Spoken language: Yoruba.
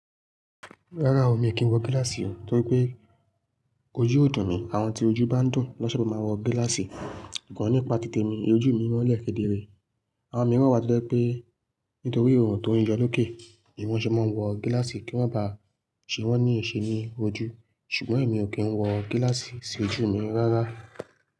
Rárá o, èmi a kìí wọ gíláàsì o torí pé ojú ò dùn mí. Àwọn tí ojú bá dùn, lọ́sẹ̀ lé máa wọ gíláàsì. Go nípa tí tè mi, ejù mi mọ́n lẹ̀ kedere. Àwọn mìíràn wà to je pé nítorí ọ̀run tó ń yọ lókè ni wọ́n ṣe máa ń wọ gíláàsì ki o maa ba ṣe wọ́n ní eṣe ní ojú. Ṣùgbọ́n èmi ò kí ń wọ gíláàsì sí ojú mi rárá.